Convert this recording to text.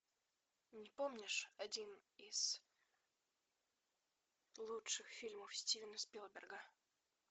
не помнишь один из лучших фильмов стивена спилберга